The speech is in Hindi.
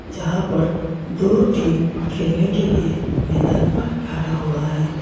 जहां पर दो टीम खेलने के लिए मैदान पर खड़ा हुआ है.